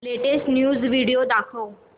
latest news video दाखव